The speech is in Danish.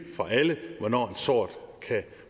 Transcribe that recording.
for alle hvornår en sort kan